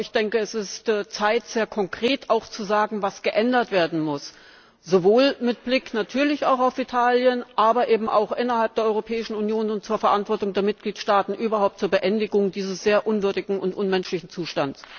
Ich denke, es ist Zeit, sehr konkret zu sagen, was geändert werden muss sowohl mit Blick natürlich auf Italien, aber eben auch innerhalb der Europäischen Union und hinsichtlich der Verantwortung der Mitgliedstaaten überhaupt zur Beendigung dieses sehr unwürdigen und unmenschlichen Zustands.